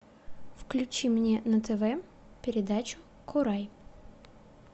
включи мне на тв передачу курай